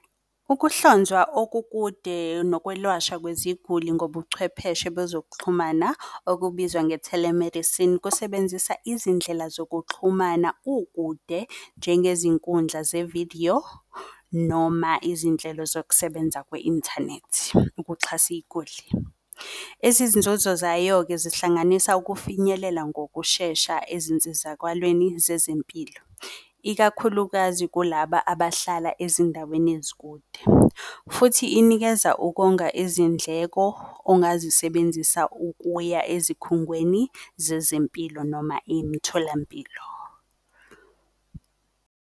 Ukuhlonzwa okukude nokwelashwa kweziguli ngobuchwepheshe bezokuxhumana okubizwa nge-telemedicine, kusebenzisa izindlela zokuxhumana kukude njengezinkundla zevidiyo, noma izinhlelo zokusebenza kwe-inthanethi ukuxhasa iyiguli. Ezezinzuzo zayo-ke zihlanganisa ukufinyelela ngokushesha ezinsizakalweni zezempilo, ikakhulukazi kulaba abahlala ezindaweni ezikude, futhi inikeza ukonga izindleko ongazisebenzisa ukuya ezikhungweni zezempilo noma imitholampilo.